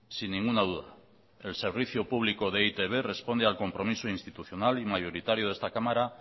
sin ninguna duda el servicio público de e i te be responde al compromiso institucional y mayoritario de esta cámara